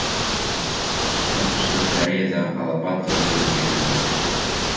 оңтүстік кореяда алапат дауыл көтерілді